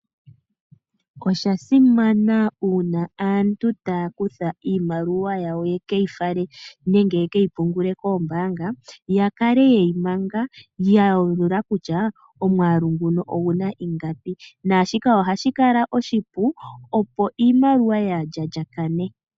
Osha simana una aantu taya kutha iimaliwa yawo yekeyi fale nenge yekeyi pungule koombanga yakale yeyi manga ya yalula kutya omwaalu nguno ingapi. Naashika ohashi kala oshipu opo iimaliwa yaalya lyakane.